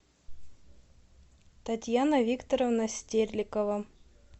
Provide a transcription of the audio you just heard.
татьяна викторовна стерлигова